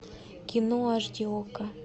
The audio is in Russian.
кино аш ди окко